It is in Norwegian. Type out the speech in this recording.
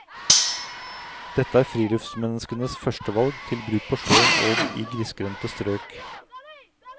Dette er friluftsmenneskenes førstevalg, til bruk på sjøen og i grisgrendte strøk.